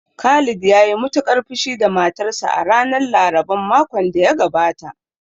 Khalid ya yi matuƙar fushi da matarsa a ranar laraban makon da ya gabata